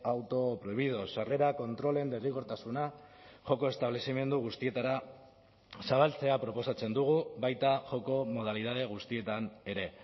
autoprohibidos sarrera kontrolen derrigortasuna joko establezimendu guztietara zabaltzea proposatzen dugu baita joko modalitate guztietan ere